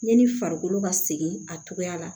Yanni farikolo ka segin a cogoya la